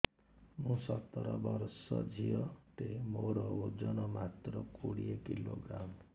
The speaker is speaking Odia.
ମୁଁ ସତର ବର୍ଷ ଝିଅ ଟେ ମୋର ଓଜନ ମାତ୍ର କୋଡ଼ିଏ କିଲୋଗ୍ରାମ